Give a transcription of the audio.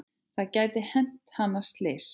Það gæti hent hann slys.